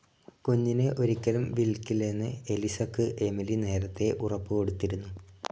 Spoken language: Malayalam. കുഞ്ഞിനെ ഒരിക്കലും വിൽക്കില്ലെന്ന് എലിസക്ക് എമിലി നേരത്തേ ഉറപ്പു കൊടുത്തിരുന്നു.